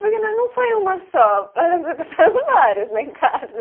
Porque não, não foi uma só, passaram várias lá em casa.